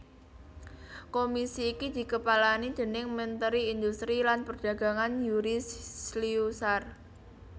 Komisi iki dikepalani déning Menteri Industri lan Perdagangan Yury Slyusar